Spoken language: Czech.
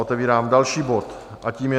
Otevírám další bod a tím je